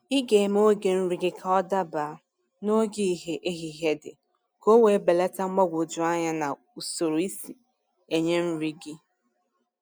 ịga eme oge nri ka ọ daba n'oge ìhè ehihie dị, k'owe belata mgbagwoju anya na usoro isi enye nri gị.